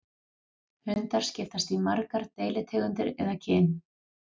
Hundar skiptast í margar deilitegundir eða kyn.